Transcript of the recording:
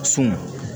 Sun